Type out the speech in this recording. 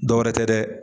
Dɔwɛrɛ tɛ dɛ